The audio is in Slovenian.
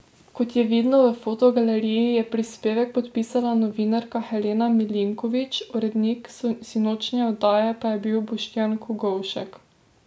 Kot je vidno v fotogaleriji, je prispevek podpisala novinarka Helena Milinković, urednik sinočnje oddaje pa je bil Boštjan Kogovšek.